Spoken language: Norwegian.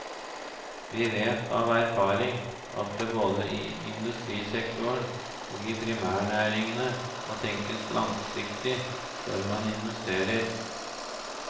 Vi vet av erfaring at det både i industrisektoren og i primærnæringene må tenkes langsiktig før man investerer.